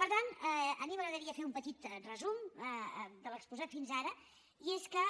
per tant a mi m’agradaria fer un petit resum de l’exposat fins ara i és que